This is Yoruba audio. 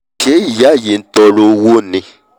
àṣé ìyá yìí ntọọrọ owó ni